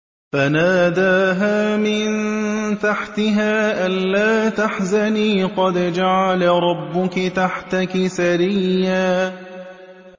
فَنَادَاهَا مِن تَحْتِهَا أَلَّا تَحْزَنِي قَدْ جَعَلَ رَبُّكِ تَحْتَكِ سَرِيًّا